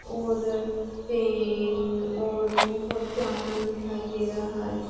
और पेन और बहोत सामान दिखाई दे रहा--